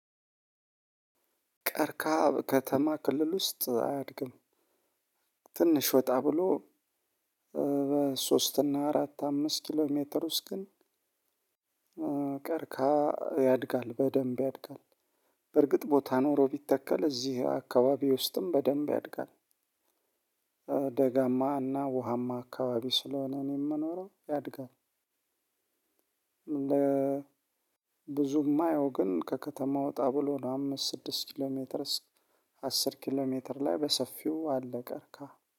ቀርከሃ በከተማ ክልል ውስጥ አያድግም። ትንሽ ወጣ ብሎ በሶስት እና አራት አምስት ኪሎ ሜትር ውስጥ ግን ቀርከሃ ያድጋል በደንብ ያድጋል። በርግጥ ቦታ ኖሮ ቢተከል እዚህ አካባቢ ውስጥም በደንብ ያድጋል። ደጋማና ውሃማ አካባቢ ስለሆነ እኔ እምኖረው ያድጋል። ብዙም እማየው ግን ከከተማ ወጣ ብሎ ነው አምስት ስድስት ኪሎ ሜትር አስር ኪሎ ሜትር ላይ በሰፊው አለ ቀርከሃ